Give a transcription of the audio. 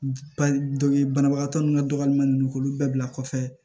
Dɔ bɛ banabagatɔ nun ka dɔgɔmanin k'olu bɛɛ bila kɔfɛ